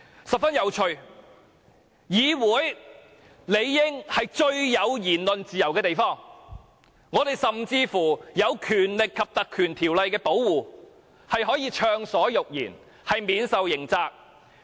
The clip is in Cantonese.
十分有趣的是，議會理應是最有言論自由的地方，我們在《立法會條例》的保護下可以暢所欲言，免受刑責。